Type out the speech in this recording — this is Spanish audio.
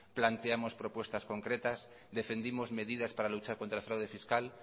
planteamos propuestas concretas defendimos medidas para luchar contra el fraude fiscal